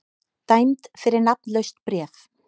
Dæmd fyrir nafnlaust bréf